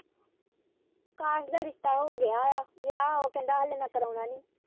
ਕਾਸ਼ ਦਾ ਰਿਸ਼ਤਾ ਹੋ ਗਿਆ ਏ ਵਿਆਹ ਉਹ ਕਹਿੰਦਾ ਹਲੇ ਮੈਂ ਕਰਵਾਉਣਾ ਨੀ।